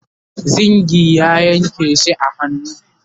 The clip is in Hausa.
zingi ya Yanke shi a hannu